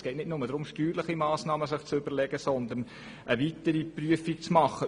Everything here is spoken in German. Es geht darum, eine weitere Prüfung vorzunehmen.